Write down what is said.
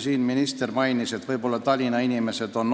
Minister mainis, et võib-olla Tallinna inimesed on